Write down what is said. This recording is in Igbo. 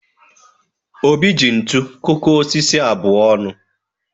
Obi ji ntu kụkọọ osisi abụọ ọnụ.